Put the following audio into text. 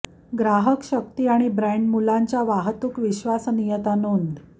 ग्राहक शक्ती आणि ब्रँड मुलांच्या वाहतूक विश्वसनीयता नोंद